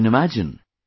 You can imagine